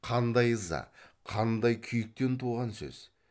қандай ыза қандай күйіктен туған сөз